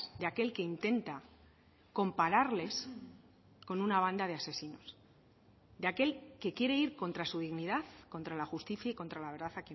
de aquel que intenta compararles con una banda de asesinos de aquel que quiere ir contra su dignidad contra la justicia y contra la verdad